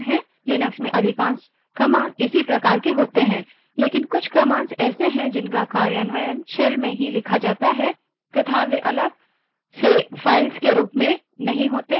Linux में अधिकांश commands इसी प्रकार की होती हैं लेकिन कुछ commands ऐसी हैं जिनका कार्यान्वयन shell में ही लिखा जाता है तथा वे अलग files के रूप में नहीं होती